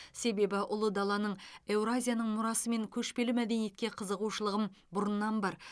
себебі ұлы даланың еуразияның мұрасы мен көшпелі мәдениетке қызығушылығым бұрыннан бар